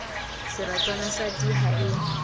seratswana sa d ha e